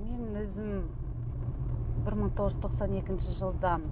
мен өзім бір мың тоғыз жүз тоқсан екінші жылдан